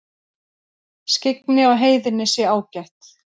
Skyggni á heiðinni sé ágætt